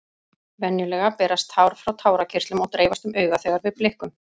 Venjulega berast tár frá tárakirtlum og dreifast um augað þegar við blikkum.